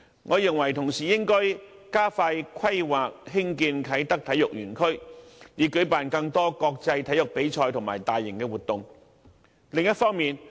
我認為當局應同時加快規劃興建啟德體育園區，以舉辦更多國際體育比賽和大型活動。